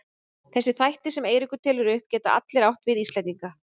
Þessir þættir sem Eiríkur telur upp geta allir átt við Íslendinga.